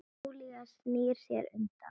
Júlía snýr sér undan.